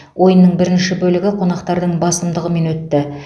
ойынның бірінші бөлігі қонақтардың басымдығымен өтті